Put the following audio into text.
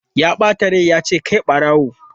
Ya bata rai ya ce 'kai barawo!'